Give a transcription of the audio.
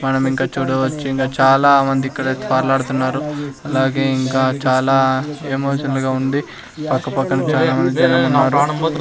మనం ఇంక చూడవచ్చు ఇంగ చాలామంది ఇక్కడ తార్లాడుతున్నారు అలాగే ఇంకా చాలా ఎమోషన్లుగా ఉంది పక్క పక్కన చానా మంది జనం ఉన్నారు.